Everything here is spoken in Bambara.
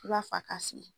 I b'a fa ka si